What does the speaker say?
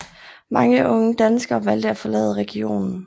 Mange unge danskere valgte at forlade regionen